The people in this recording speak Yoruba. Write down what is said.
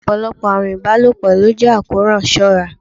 Ọ̀pọ̀lọpọ̀ àrùn ìbálòpọ̀ ló jẹ́ àrùn àkóràn, ṣọ́ ra!